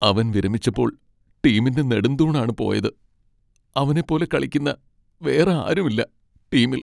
അവൻ വിരമിച്ചപ്പോൾ ടീമിൻ്റെ നെടുംതൂണാണ് പോയത്, അവനെ പോലെ കളിക്കുന്ന വേറെ ആരും ഇല്ല ടീമിൽ.